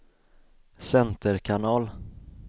center kanal